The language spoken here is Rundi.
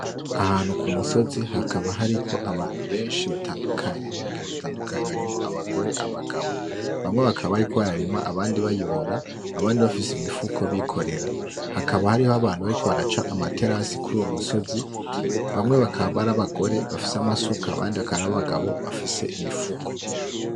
Ahantu ku musozi, hakaba hariko abantu benshi batandukanye, bo mu ngeri zitandukanye, harimwo abagore; abagabo bamwe bakaba bariko bararima; abandi bayora; abandi bafise imifuko bikorera, hakaba hariho abantu bariko baraca amaterase kur'uwo musozi, bamwe bakaba ar'abagore bafise amasuka abandi bakaba ar'abagabo bafise imifuko.